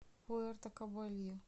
пуэрто кабельо